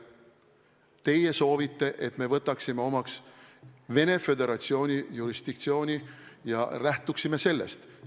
Teie soovite, et me võtaksime omaks Venemaa Föderatsiooni jurisdiktsiooni ja lähtuksime sellest.